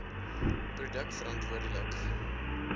produk verantwoorde lik